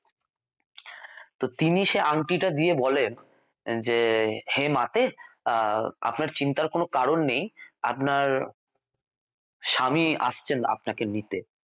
তো তিনি সে আংটিটা দিয়ে বলেন যে হে মাতে আহ আপনার চিন্তার কোনও কারণ নেই আপনার স্বামী আসছেন আপনাকে নিতে